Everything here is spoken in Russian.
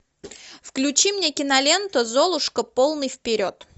включи мне киноленту золушка полный вперед